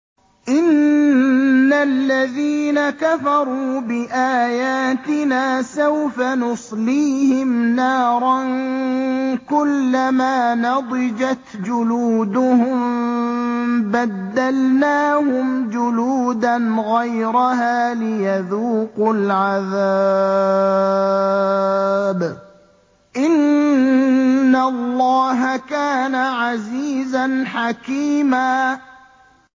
إِنَّ الَّذِينَ كَفَرُوا بِآيَاتِنَا سَوْفَ نُصْلِيهِمْ نَارًا كُلَّمَا نَضِجَتْ جُلُودُهُم بَدَّلْنَاهُمْ جُلُودًا غَيْرَهَا لِيَذُوقُوا الْعَذَابَ ۗ إِنَّ اللَّهَ كَانَ عَزِيزًا حَكِيمًا